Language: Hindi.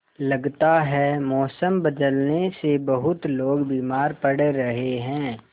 लगता है मौसम बदलने से बहुत लोग बीमार पड़ रहे हैं